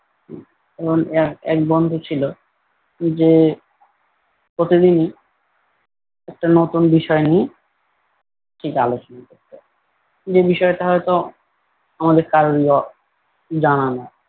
এমন এক এক বন্ধু ছিল যে প্রতিদিনই একটা নতুন বিষয় নিয়ে ঠিক আলোচনা করতো। যে বিষয়টা হয়তো আমাদের কারোর ই ও জানা নাই।